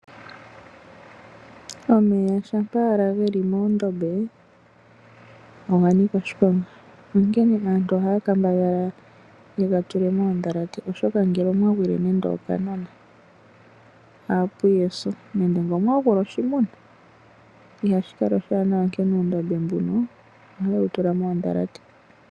Omeya shampa wala geli moondombe oganika oshiponga onkene aantu ohaa kambala yegatule moondhalate oshoka ngele omwa gwile nando okanona ohapuya eso nenge ngele omwa gwile oshimuna, ihashi kala oshiwaanawa onkene uundombe mbuno ohaye wutula moondhalate.